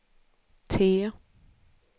T